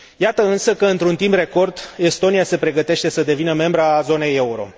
Iată însă că într un timp record Estonia se pregătește să devină membră a zonei euro.